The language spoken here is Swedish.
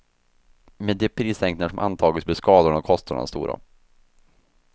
Med de prissänkningar som antagits blir skadorna och kostnaderna stora.